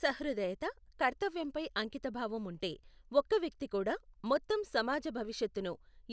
సహృదయత, కర్తవ్యంపై అంకితభావం ఉంటే, ఒక్క వ్యక్తి కూడా మొత్తం సమాజ భవిష్యత్తును